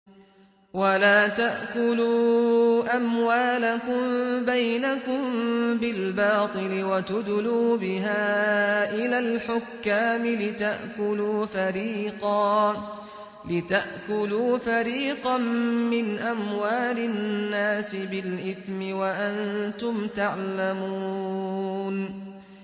وَلَا تَأْكُلُوا أَمْوَالَكُم بَيْنَكُم بِالْبَاطِلِ وَتُدْلُوا بِهَا إِلَى الْحُكَّامِ لِتَأْكُلُوا فَرِيقًا مِّنْ أَمْوَالِ النَّاسِ بِالْإِثْمِ وَأَنتُمْ تَعْلَمُونَ